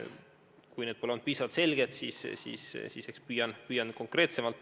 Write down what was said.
Kui need pole olnud piisavalt selged, siis eks püüan olla konkreetsem.